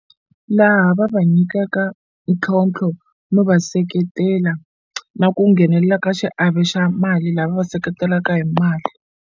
Laha va va nyikaka ntlhontlho no va seketela na ku nghenelela ka xiave xa mali la va va seketelaka hi mali.